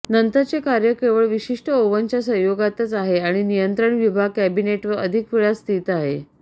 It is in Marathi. नंतरचे कार्य केवळ विशिष्ट ओव्हनच्या संयोगातच आहे आणि नियंत्रण विभाग कॅबिनेटवर अधिक वेळा स्थित आहे